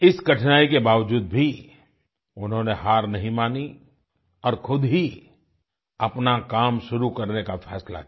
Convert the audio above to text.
इस कठिनाई के बावजूद भी उन्होंने हार नहीं मानी और खुद ही अपना काम शुरू करने का फैसला किया